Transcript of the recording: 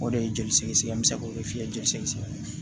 O de ye joli sɛgɛsɛgɛ n bɛ se k'o de f'i ye joli sɛgɛn